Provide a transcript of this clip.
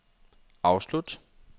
afslut